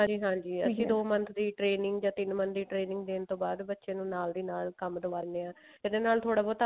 ਹਾਂਜੀ ਹਾਂਜੀ ਅਸੀਂ ਦੋ month ਦੀ training ਜਾਂ ਤਿੰਨ month ਦੀ training ਦੇਣ ਤੋਂ ਬਾਅਦ ਬੱਚੇ ਨੂੰ ਨਾਲ ਦੀ ਨਾਲ ਕੰਮ ਕਰ ਲਿਆ ਇਹਦੇ ਨਾਲ ਥੋੜਾ ਬਹੁਤਾ